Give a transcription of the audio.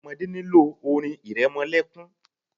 Ọmọdé nílò orin ìrẹmọlẹ́kún.